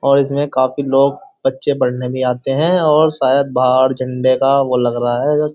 और इसमें काफी लोग बच्चे पढ़ने भी आते हैं और शायद बाहर झंडे का वो लग रहा है।